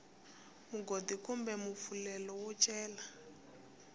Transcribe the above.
mugodi kumbe mpfumelelo wo cela